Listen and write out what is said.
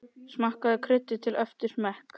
Smakkið og kryddið til eftir smekk.